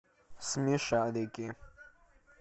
смешарики